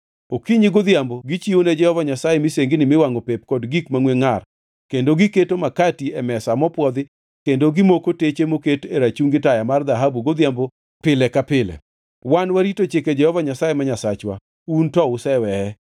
Okinyi godhiambo gichiwone Jehova Nyasaye misengini miwangʼo pep kod gik mangʼwe ngʼar kendo giketo makati e mesa mopwodhi kendo gimoko teche moket e rachungi taya mar dhahabu godhiambo pile ka pile. Wan warito chike Jehova Nyasaye ma Nyasachwa, un to useweye.